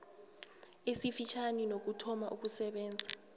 esifitjhani nokuthoma ukusebenza